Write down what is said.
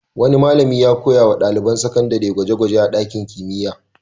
Wani malami ya koya wa ɗaliban sakandare gwaje-gwaje a ɗakin kimiyya.